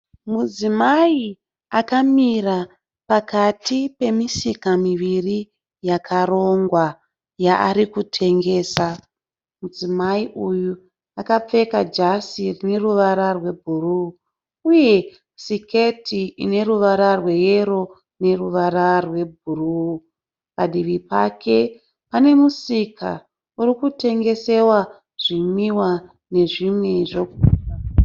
Mudzimai akamira pakati pemisika miviri yakarongwa yaari kutengesa. Mudzimai uyu akapfeka jasi rine ruvara rwebhuruu uye siketi ine ruvara rweyero neruvara rwebhuruu. Padivi pake pane musika uri kutengesewa zvimwiwa nezvimwe zvekudya.